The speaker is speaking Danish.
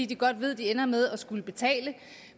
de godt ved at de ender med at skulle betale